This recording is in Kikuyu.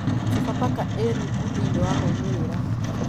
Sofapaka ĩ rungu thĩiniĩ wa maumĩrĩra.